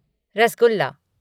rasgulla